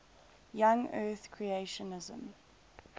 young earth creationism